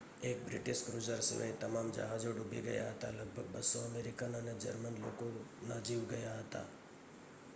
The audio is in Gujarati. એક બ્રિટિશ ક્રૂઝર સિવાય તમામ જહાજો ડૂબી ગયા હતા લગભગ 200 અમેરિકન અને જર્મન લોકોના જીવ ગયા હતા